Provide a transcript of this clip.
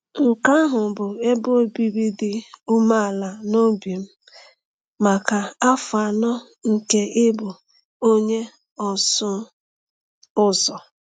Nke ahụ bụ ebe obibi dị umeala n’obi m maka afọ anọ nke ịbụ onye ọsụ ụzọ.